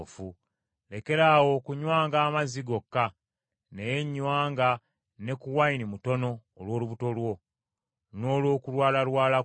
Lekeraawo okunywanga amazzi gokka, naye nywanga ne ku wayini mutono olw’olubuto lwo, n’olw’okulwalalwala kwo.